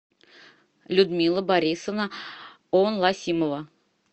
людмила борисовна онласимова